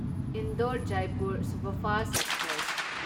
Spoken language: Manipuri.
Indore Jaipur superfast express